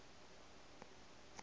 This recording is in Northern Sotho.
ba be ba ka no